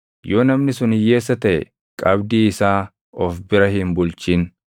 Yoo namni sun hiyyeessa taʼe qabdii isaa of bira hin bulchin.